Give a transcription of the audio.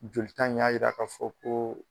Jolita in y'a yira k'a fɔ koo